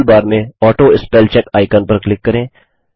toolbar में autospellcheck icon पर click करें